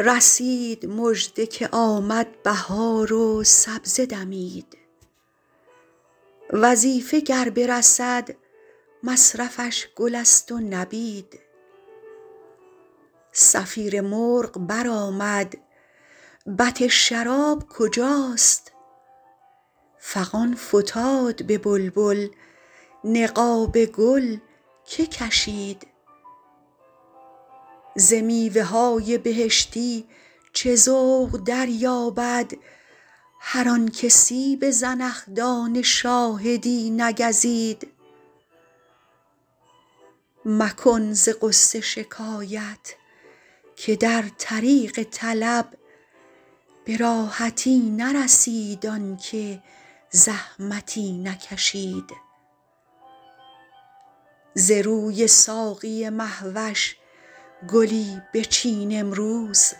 رسید مژده که آمد بهار و سبزه دمید وظیفه گر برسد مصرفش گل است و نبید صفیر مرغ برآمد بط شراب کجاست فغان فتاد به بلبل نقاب گل که کشید ز میوه های بهشتی چه ذوق دریابد هر آن که سیب زنخدان شاهدی نگزید مکن ز غصه شکایت که در طریق طلب به راحتی نرسید آن که زحمتی نکشید ز روی ساقی مه وش گلی بچین امروز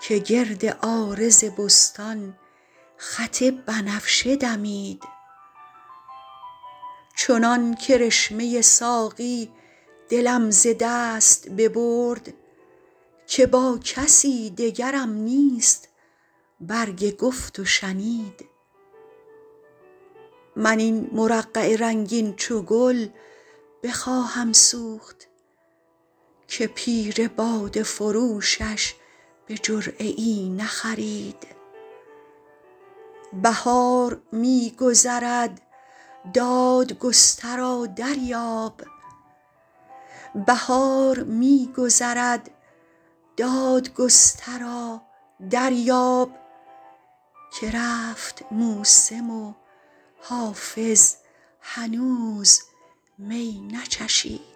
که گرد عارض بستان خط بنفشه دمید چنان کرشمه ساقی دلم ز دست ببرد که با کسی دگرم نیست برگ گفت و شنید من این مرقع رنگین چو گل بخواهم سوخت که پیر باده فروشش به جرعه ای نخرید بهار می گذرد دادگسترا دریاب که رفت موسم و حافظ هنوز می نچشید